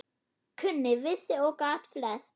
Kunni, vissi og gat flest.